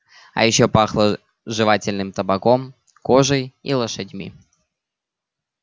и ещё пахло жевательным табаком кожей и лошадьми